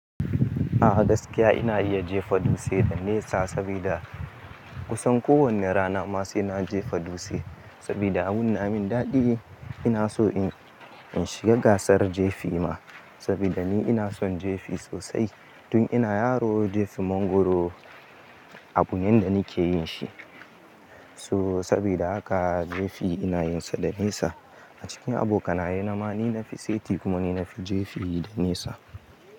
A'a gaskiya ina iya jefa dutse da nesa, sabida kusan kowane rana ma sai na jefa dutse, sabida munamin daɗin ina so in shiga gasar jefi ma, sabida ni ina son jefi sosai. Tun ina yaro jefi mangoro, abu ne da nake yin shi. To sabida haka, jefi ina yin sa da nesa. A cikin abokanaye na ma ni na fi seti, kuma ni na fi jefi da nesa.